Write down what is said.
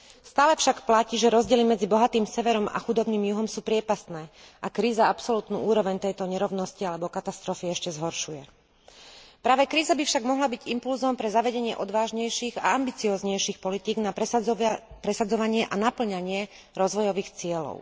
Stále však platí, že rozdiely medzi bohatým severom a chudobným juhom sú priepastné a kríza absolútnu úroveň tejto nerovnosti alebo katastrofy ešte zhoršuje. Práve kríza by však mohla byť impulzom pre zavedenie odvážnejších a ambicióznejších politík na presadzovanie a napĺňanie rozvojových cieľov.